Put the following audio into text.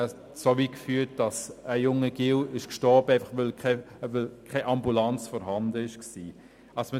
Das führte dazu, dass ein Junge starb, weil keine Ambulanz vorhanden war.